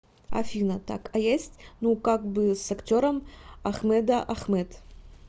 афина так а есть ну как бы с актером ахмэда ахмэд